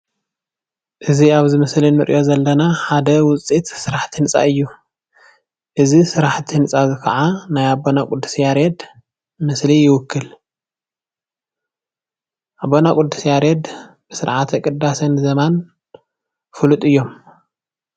እዚ ኣብ ምስሊ ንርኦ ዘለና ሓደ ውፅኢት ስራሓቲ ህንፃ እዩ እዚ ስራሓቲ ህንፃ እዚ ከዓ ናይ ኣቦና ቅድስ ያሬድ ምስሊ ይውክል ኣቦና ቅድስ ያሬድ ብስራዓተ ቅዳሴን ዜማን ፉልጥ እዮም።